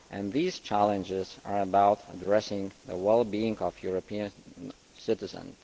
These challenges are about addressing the well being of Europeans citizens.